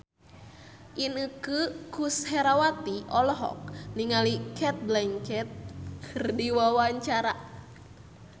Inneke Koesherawati olohok ningali Cate Blanchett keur diwawancara